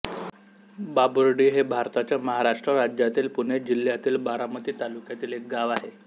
बाबुर्डी हे भारताच्या महाराष्ट्र राज्यातील पुणे जिल्ह्यातील बारामती तालुक्यातील एक गाव आहे